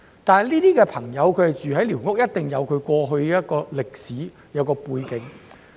他們居於寮屋，必定有過去的歷史背景。